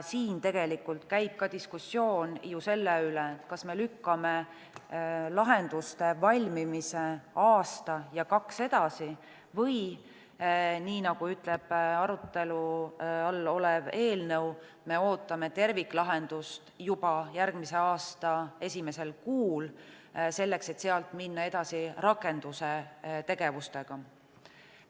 Siin tegelikult käib ka diskussioon ju selle üle, kas me lükkame lahenduste valmimise aasta ja kaks edasi või nii, nagu ütleb arutelu all olev eelnõu, ootame terviklahendust juba järgmise aasta esimesel kuul, selleks et sealt minna edasi rakendustegevustega.